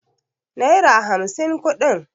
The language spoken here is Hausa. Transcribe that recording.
naira hamsin kudin